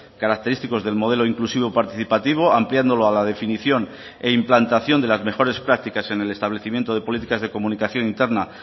característicos del modelo inclusivo participativo ampliándolo a la definición e implantación de las mejores prácticas en el establecimiento de políticas de comunicación interna